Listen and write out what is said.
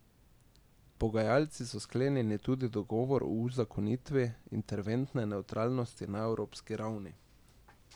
Pogajalci so sklenili tudi dogovor o uzakonitvi internetne nevtralnosti na evropski ravni.